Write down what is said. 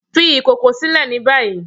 fi ìkòkò silẹ ni bayi!